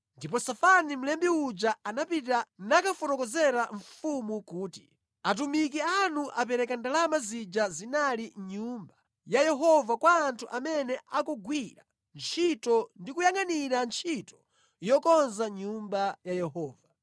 Ndipo Safani mlembi uja, anapita nakafotokozera mfumu kuti, “Atumiki anu apereka ndalama zija zinali mʼNyumba ya Yehova kwa anthu amene akugwira ntchito ndi kuyangʼanira ntchito yokonza Nyumba ya Yehova.”